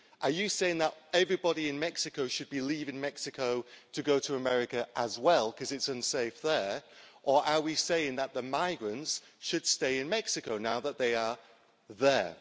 Are we saying that everybody in Mexico should be leaving Mexico to go to America as well because it's unsafe there, or are we saying that the migrants should stay in Mexico now that they are there?